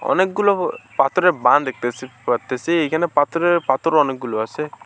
অনেকগুলো পাথরের দেখতেসি পারতেসি এখানে পাথর পাথর অনেকগুলো আছে।